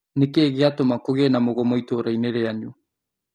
Nĩkĩĩ gĩatũma kũgĩe na mũgomo itũra-inĩ rĩanyu?